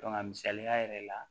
a misaliya yɛrɛ la